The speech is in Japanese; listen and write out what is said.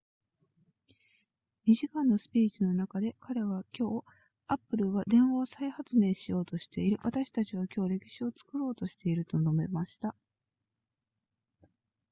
2時間のスピーチの中で彼は今日 apple は電話を再発明しようとしている私たちは今日歴史を作ろうとしていると述べました